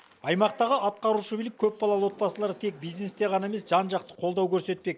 аймақтағы атқарушы билік көпбалалы отбасыларды тек бизнесте ғана емес жан жақты қолдау көрсетпек